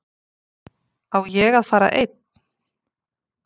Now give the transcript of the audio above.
Á ég að fara einn?